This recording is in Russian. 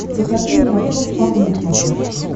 покажи мне ростов папа на смотрешке